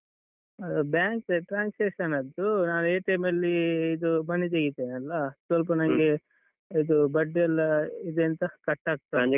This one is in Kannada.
ಹಾ bank transaction ನದ್ದು ನಾನ್ ಅಲ್ಲೀ ಇದು money ತೆಗಿತೇನಲ್ಲ ಸ್ವಲ್ಪ ನನ್ಗೆ ಇದು ಬಡ್ಡಿಯೆಲ್ಲಾ ಇದೆಂಥ cut ಆಗ್ತಾ ಉಂಟು.